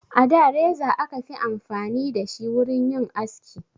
A da reza aka fi amfani da shi wurin yin aski